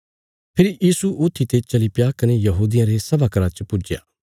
फेरी यीशु ऊत्थी ते चलीप्या कने यहूदियां रे सभा घरा च पुज्जया